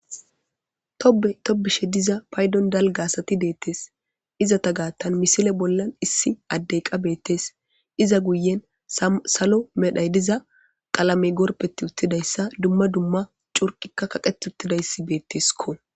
toetobishe diza paydon dalga asati deettes izata gaattan misile bollan issi addey qa beettes iza guyen salo medhay diza qalamey gorpeti uttidayssa dumma dumma curqikka kaqet uttidayssi beetteskko